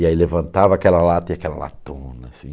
E aí levantava aquela lata e aquela latona, assim.